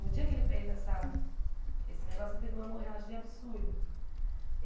No dia que ele fez essa esse negócio, ele teve uma morragem absurda.